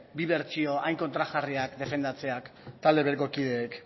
bi bertsio hain kontrajarriak defendatzeak talde bereko kideek